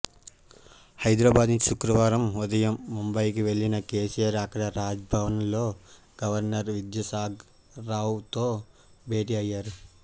హైదరాబాద్ నుంచి శుక్రవారం ఉదయం ముంబయికి వెళ్లిన కేసీఆర్ అక్కడ రాజ్భవన్లో గవర్నర్ విద్యాసాగర్రావుతో భేటీ అయ్యారు